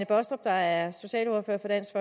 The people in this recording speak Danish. baastrup der er socialordfører for dansk